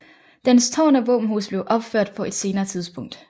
Dens tårn og våbenhus blev opført på et senere tidspunkt